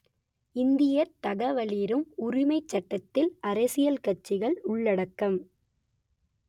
இந்தியத் தகவலறியும் உரிமைச் சட்டத்தில் அரசியல் கட்சிகள் உள்ளடக்கம்